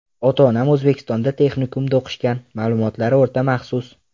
Ota-onam O‘zbekistonda texnikumda o‘qishgan, ma’lumotlari o‘rta maxsus.